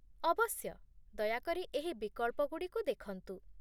ଅବଶ୍ୟ, ଦୟାକରି ଏହି ବିକଳ୍ପଗୁଡ଼ିକୁ ଦେଖନ୍ତୁ